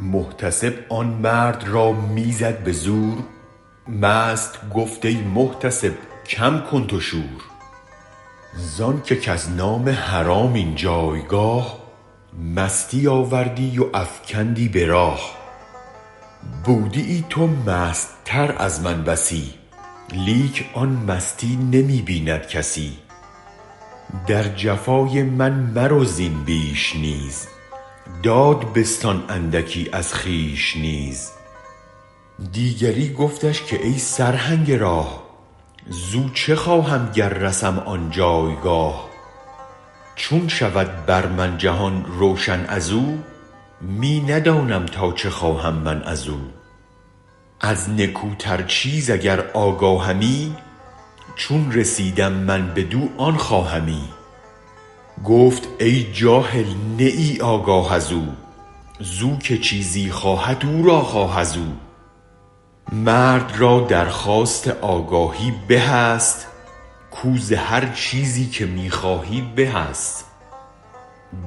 محتسب آن مرد را می زد به زور مست گفت ای محتسب کم کن تو شور زانک کز نام حرام این جایگاه مستی آوردی و افکندی ز راه بودیی تو مست تر از من بسی لیک آن مستی نمی بیند کسی در جفای من مرو زین بیش نیز داد بستان اندکی از خویش نیز دیگری گفتش که ای سرهنگ راه زو چه خواهم گر رسم آن جایگاه چون شود بر من جهان روشن ازو می ندانم تا چه خواهم من ازو از نکوتر چیز اگر آگاهمی چون رسیدم من بدو آن خواهمی گفت ای جاهل نه ای آگاه ازو زو که چیزی خواهد او را خواه ازو مرد را درخواست آگاهی به است کو زهر چیزی که می خواهی به است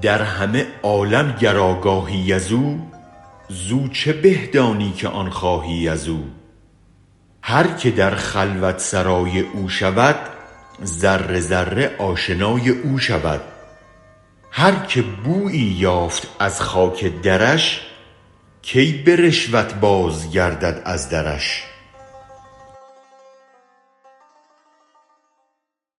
در همه عالم گر آگاهی ازو زو چه به دانی که آن خواهی ازو هرک در خلوت سرای او شود ذره ذره آشنای او شود هرک بویی یافت از خاک درش کی به رشوت بازگردد از درش